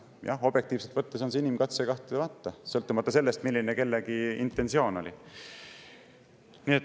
Jah, objektiivselt võttes on see inimkatse kahtlemata, sõltumata sellest, milline kellegi intentsioon oli.